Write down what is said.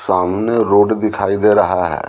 सामने रोड दिखाई दे रहा है।